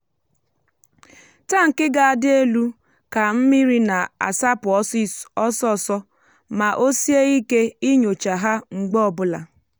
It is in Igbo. tankị ga-adị elu ka mmiri na-asapụ ọsọ ọsọ ma o sie ike inyocha ha mgbe ọ bụla.